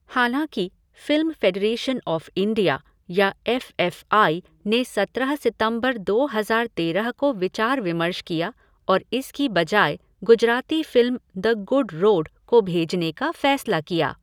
हालाँकि Film Federation of India या F F I ने सत्रह सितंबर दो हज़ार तेरह को विचार विमर्श किया और इसकी बजाय Gujarati film The Good Road को भेजने का फ़ैसला किया।